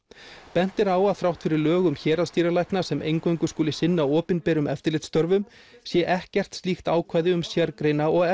bent er á að þrátt fyrir lög um héraðsdýralækna sem eingöngu skuli sinna opinberum eftirlitsstörfum sé ekkert slíkt ákvæði um sérgreina og